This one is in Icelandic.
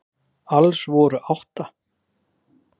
Þá var sími mannsins hleraður